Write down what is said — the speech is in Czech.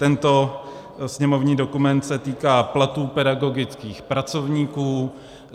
Tento sněmovní dokument se týká platů pedagogických pracovníků.